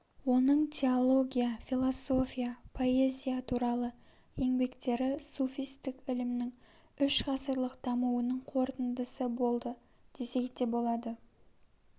оның теология философия поэзия туралы енбектері суфистік ілімнің үш ғасырлық дамуының қорытындысы болды десек те болады